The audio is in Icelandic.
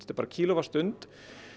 er bara kílóvattsstund